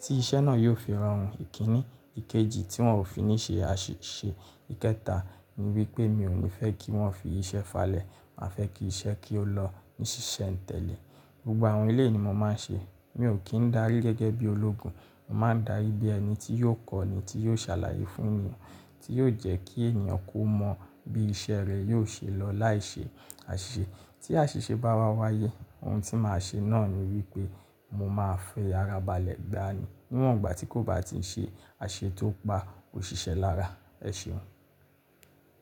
tí iṣẹ́ náà yóò fi rọrùn. Ikini, ikéjì tí wọn ò fi ní ṣe àṣìṣe. Ìkẹta ni wípé mi ò ní fẹ́ kí wọ́n fi iṣẹ́ falẹ̀. Má fẹ́ kí iṣẹ́ kí ó lọ ní ṣíṣe ìtẹ̀lẹ̀. Gbogbo àwọn eleyii ni mo máa ń ṣe. Mi ò kí ń darí gẹ́gẹ́ bí ológun. Mo máa ń darí bí ẹni tí yóò kọ́ni tí yóò ṣàlàyé fún ni, tí yóò jẹ́ kí èèyàn kó mọ bí iṣẹ́ rẹ̀ yóò ṣe lọ láì ṣe àṣìṣe. Tí àṣìṣe bá wá wáyé ohun tí màá ṣe náà ni wípé mo máa fẹ́ ara balẹ̀ gbá ni níwọ̀n ìgbà tí kò bá ti ń ṣe àṣise tó pa òṣìṣẹ́ lára. E ṣeun.